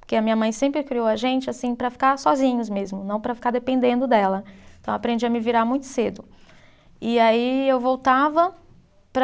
porque a minha mãe sempre criou a gente assim para ficar sozinhos mesmo não para ficar dependendo dela então aprendi a me virar muito cedo e aí eu voltava para